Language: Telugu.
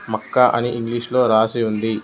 మక్క అని ఇంగ్లీషులో రాసి ఉంది.